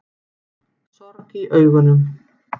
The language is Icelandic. Sorg í augunum.